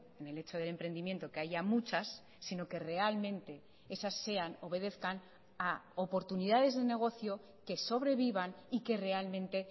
en el hecho del emprendimiento que haya muchas sino que realmente esas sean obedezcan a oportunidades de negocio que sobrevivan y que realmente